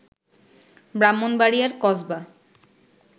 ব্রাহ্মণবাড়িয়ার কসবা